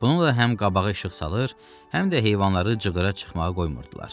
Bununla həm qabağa işıq salır, həm də heyvanları cıvdıra çıxmağa qoymurdular.